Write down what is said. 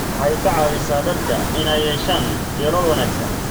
Waxay ka caawisaa dadka inay yeeshaan yoolal wanaagsan.